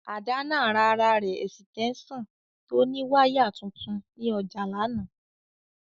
Adana ra ara re esitensan to ni wire tuntun ni oja lana.